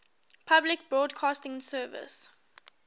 public broadcasting service